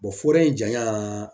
foore in janya